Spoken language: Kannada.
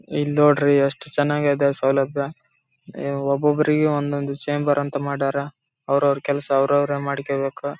ಕುತ್ಕೊಂಡು ಕೆಲಸ ಮಾಡ್ತಾ ಇದ್ದಾರೆ ಇಲ್ಲಿ ಎಲ್ಲಾ ಆಚೆಕಡೆ ಕಾಯ್ಕೊಂಡು ಕೂತಿದ್ದಾರೆ ಇಲ್ಲಿ ಗಡಿಯಾರ ಕಾಣಿಸ್ತಾ ಇದೆ.